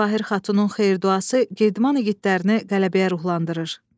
Cəvahir xatunun xeyir duası Girdman igidləri qələbəyə ruhlandırır.